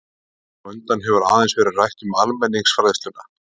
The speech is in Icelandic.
Hér á undan hefur aðeins verið rætt um almenningsfræðsluna.